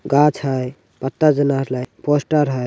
गाछ हई पत्ता जना हई पोस्टर लगल हई।